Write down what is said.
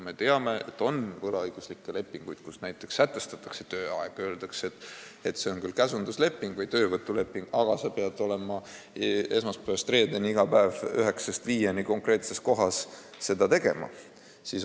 Me teame, et on võlaõiguslikke lepinguid, kus näiteks sätestatakse tööaeg, öeldakse, et see on küll käsundusleping või töövõtuleping, aga sa pead olema esmaspäevast reedeni iga päev kella 9-st 5-ni konkreetses kohas ja seda või teist tegema.